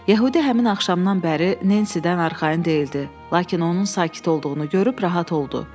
Yəhudi həmin axşamdan bəri Nensidən arxayın deyildi, lakin onun sakit olduğunu görüb rahat oldu.